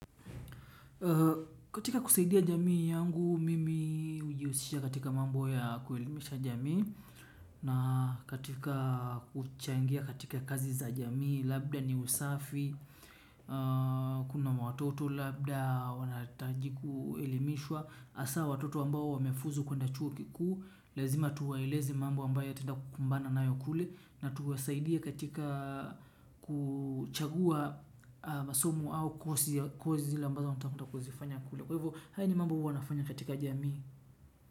Katika kusaidia jamii yangu mimi hujiusisha katika mambo ya kuelimisha jamii. Na katika kuchangia katika kazi za jamii labda ni usafi. Kuna watoto labda wanaitaji kuelimishwa hasaa watoto ambao wamefuzu kuenda chuo kikuu. Lazima tuwaeleze mambo ambayo ataenda kukumbana nayo kule na tuwasaidie katika kuchagua masomu au kozi ambazo utakuta kuzifanya kule. Kwa hivyo, haya ni mambo huwa nafanya katika jamii.